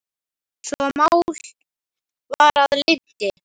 svo að mál var að linnti.